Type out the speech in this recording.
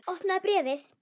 Opnaðu bréfið!